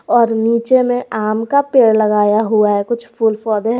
और नीचे में आम का पेड़ लगाया हुआ है कुछ फूल पौधे हैं।